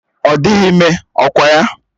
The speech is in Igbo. Ọ dịghị ime, ọkwa ya?